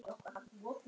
Teitur Ingi.